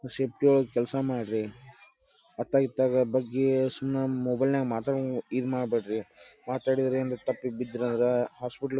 ಒಳಗ ಕೆಲಸ ಮಾಡ್ರಿ ಅತ್ತಾಗ ಇತ್ತಾಗ ಬಗ್ಗಿ ಸುಮ್ನ ಮೊಬೈಲ್ ನಾಗ ಮಾತಾಡ್ಕೊನ್ ಇದ ಮಾಡ್ರಿ. ಮಾತಾಡಿದ್ರ ಏನಾರ ತಪ್ಪಿ ಬಿದ್ರಂದ್ರ ಹಾಸ್ಪಿಟಲ್ ಗ--